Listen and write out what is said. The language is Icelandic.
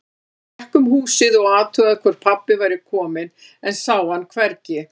Hann gekk um húsið og athugaði hvort pabbi væri kominn, en sá hann hvergi.